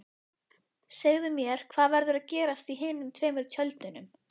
Segðu mér, hvað verður að gerast í hinum tveimur tjöldunum?